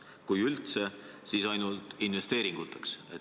Kui üldse, siis ainult investeeringutest.